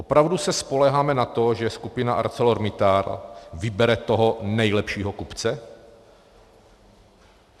Opravdu se spoléháme na to, že skupina ArcelorMittal vybere toho nejlepšího kupce?